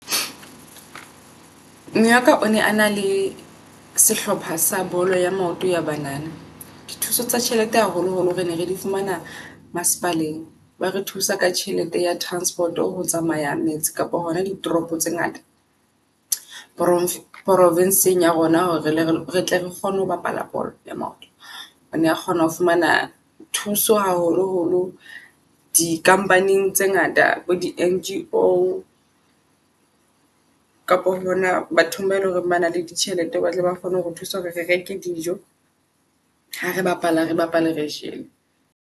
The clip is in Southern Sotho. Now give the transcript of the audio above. Mme waka o ne a na le sehlopha sa bolo ya maoto ya banana. Di thuso tsa tjhelete haholo holo re ne re di fumana masepaleng, ba re thusa ka tjhelete ya transport-o ho tsamaya met se kapa hona di toropo tse ngata profinsing ya rona hore retle re kgone ho bapala bolo ya maoto. Ona kgona ho fumana thuso haholo holo di company-eng tse ngata bo di N_G_O kapa hona bathong ba eleng hore bana le ditjhelete. Batle ba kgone hore thusa hore re reke dijo. Ha re bapala re bapale re jele.